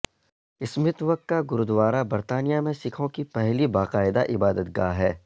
Smith وک کا گوردوارہ برطانیہ میں سکھوں کی پہلی باقاعدہ عبادتگاہ ہے